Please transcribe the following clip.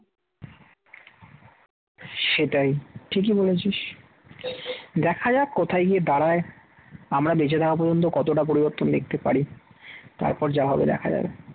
সেটাই ঠিকই বলেছিস দেখা যাক কোথায় গিয়ে দাঁড়ায়, আমরা বেঁচে থাকা পর্যন্ত কতটা পরিবর্তন দেখতে পারি, তারপর যা হবে দেখা যাবে